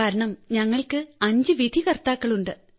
കാരണം ഞങ്ങൾക്ക് അഞ്ച് വിധികർത്താക്കൾ ഉണ്ട്